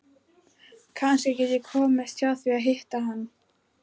Kannski get ég komist hjá því að hitta hann.